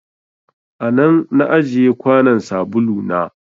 A nan na ajiye kwanon sabulu na.